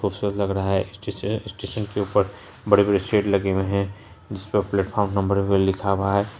Poster लग रहा है स्टेशन स्टेशन के ऊपर बड़े-बड़े स्टेट लगे हुए हैं जिस पर प्लेटफार्म नंबर भी लिखा हुआ है।